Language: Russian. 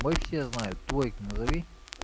мой все знают твой-то назови